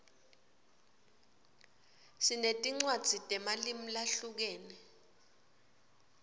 sinetinwadzi temalimu lahlukene